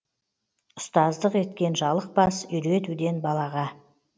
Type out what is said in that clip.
ұстаздық еткен жалықпас үйретуден балаға